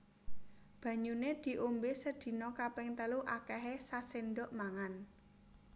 Banyune diombe sedina kaping telu akehe sasendok mangan